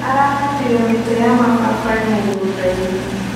Arahandire mĩtĩ ya mababaĩ mũgũndainĩ.